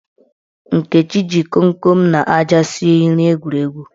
Nkechi ji komkom na aja sie nri egwuregwu.